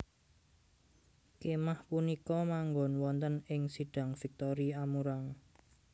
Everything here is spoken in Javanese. Kémah punika manggon wonten ing Sidang Victory Amurang